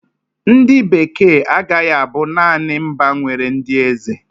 Ndị Bekee agaghị abụ naanị mba nwere ndị eze.